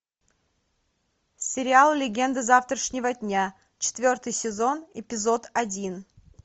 сериал легенды завтрашнего дня четвертый сезон эпизод один